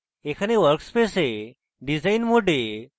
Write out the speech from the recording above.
এখানে workspace design mode